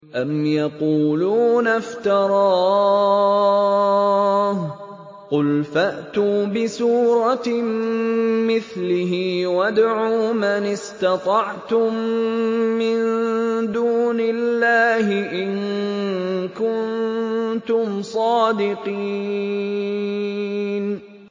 أَمْ يَقُولُونَ افْتَرَاهُ ۖ قُلْ فَأْتُوا بِسُورَةٍ مِّثْلِهِ وَادْعُوا مَنِ اسْتَطَعْتُم مِّن دُونِ اللَّهِ إِن كُنتُمْ صَادِقِينَ